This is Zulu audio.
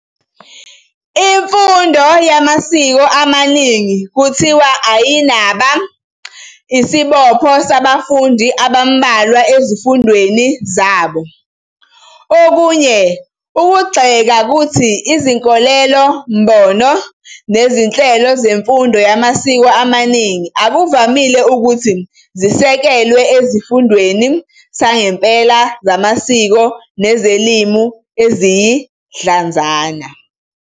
Imfundo yamasiko amaningi kuthiwa ayinaba "isibopho sabafundi abambalwa ezifundweni zabo" Okunye ukugxeka kuthi "izinkolelo-mbono nezinhlelo zemfundo yamasiko amaningi akuvamile ukuthi zisekelwe esifundweni sangempela samasiko nezilimi eziyidlanzana.